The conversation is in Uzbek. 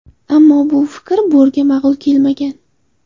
Ammo bu fikr Borga ma’qul kelmagan.